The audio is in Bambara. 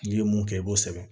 N'i ye mun kɛ i b'o sɛbɛn